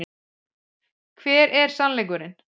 Hver er SANNLEIKURINN?